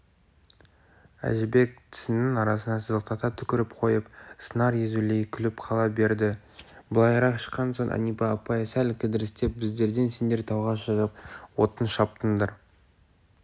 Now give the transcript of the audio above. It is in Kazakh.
әжібек тісінің арасынан сыздықтата түкіріп қойып сыңар езулей күліп қала берді былайырақ шыққан соң әнипа апай сәл кідірістеп біздерден сендер тауға шығып отын шаптыңдар